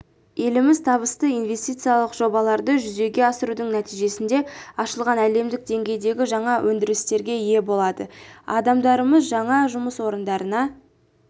еліміз табысты инвестициялық жобаларды жүзеге асырудың нәтижесінде ашылған әлемдік деңгейдегі жаңа өндірістерге ие болады адамдарымыз жаңа жұмыс орындарына